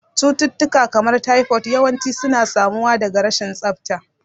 Cututtuka, kamar typhoid, yawanci suna samuwa daga rashin tsafta.